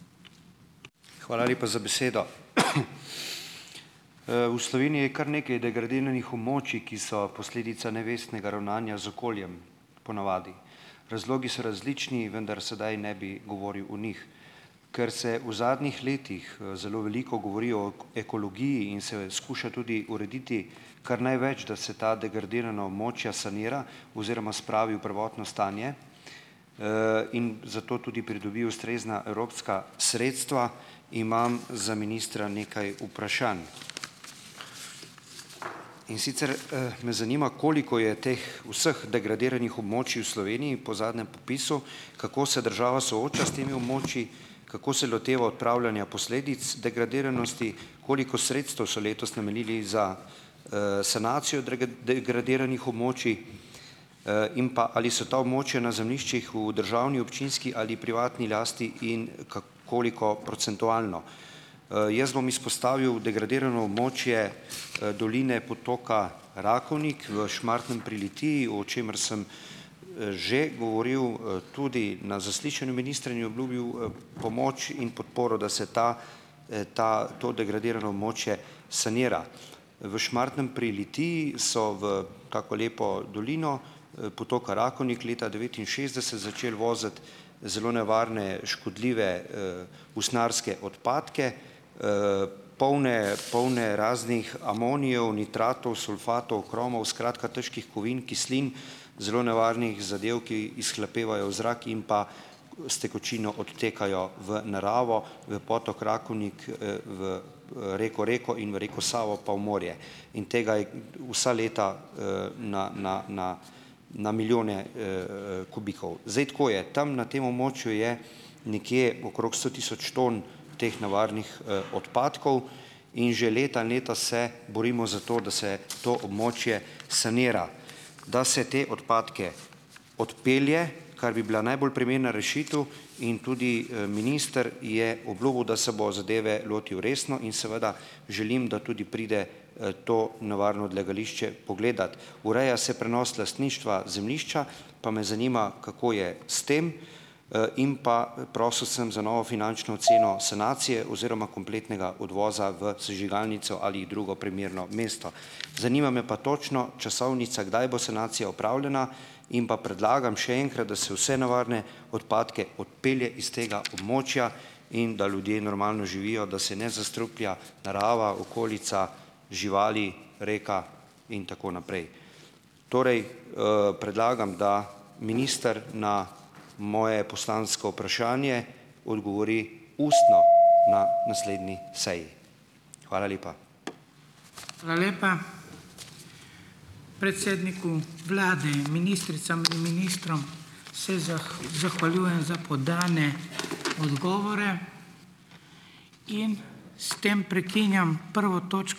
Hvala lepa za besedo. V Sloveniji je kar nekaj degradiranih območij, ki so posledica nevestnega ravnanja z okoljem, po navadi. Razlogi so različni, vendar sedaj ne bi govoril o njih. Ker se v zadnjih letih zelo veliko govori o ekologiji in se jo skuša tudi urediti kar največ, da se ta degradirana območja sanira oziroma spravi v prvotno stanje in za to tudi pridobi ustrezna evropska sredstva, imam za ministra nekaj vprašanj. In sicer me zanima, koliko je teh vseh degradiranih območij v Sloveniji po zadnjem popisu, kako se država sooča s temi območji, kako se loteva odpravljanja posledic degradiranosti, koliko sredstev so letos namenili za sanacijo degradiranih območij in pa ali so ta območja na zemljiščih v državni, občinski ali privatni lasti in koliko procentualno. Jaz bom izpostavil degradirano območje doline potoka Rakovnik v Šmartnem pri Litiji, o čemer sem že govoril tudi na zaslišanju ministra, in je obljubil pomoč in podporo, da se ta ta to degradirano območje sanira. V Šmartnem pri Litiji so v tako lepo dolino potoka Rakovnik leta devetinšestdeset začeli voziti zelo nevarne škodljive usnjarske odpadke, polne polne raznih amonijev, nitratov, sulfatov, kromov, skratka težkih kovin, kislin, zelo nevarnih zadev, ki izhlapevajo v zrak in pa s tekočino odtekajo v naravo, v potok Rakovnik, v reko Reko in v reko Savo pa v morje. In tega vsa leta na na na na milijone kubikov. Zdaj, tako je - tam, na tem območju je nekje okrog sto tisoč ton teh nevarnih odpadkov in že leta in leta se borimo za to, da se to območje sanira. Da se te odpadke odpelje, kar bi bila najprimernejša rešitev, in tudi minister je obljubil, da se bo zadeve lotil resno, in seveda želim, da tudi pride to nevarno odlagališče pogledat. Ureja se prenos lastništva zemljišča, pa me zanima, kako je s tem. In pa prosil sem za novo finančno oceno sanacije oziroma kompletnega odvoza v sežigalnico ali drugo primerno mesto. Zanima me pa točno časovnica, kdaj bo sanacija opravljena in pa predlagam še enkrat, da se vse nevarne odpadke odpelje iz tega območja in da ljudje normalno živijo, da se ne zastruplja narava, okolica, živali, rekla in tako naprej. Torej predlagam, da minister na moje poslansko vprašanje odgovori ustno na naslednji seji. Hvala lepa.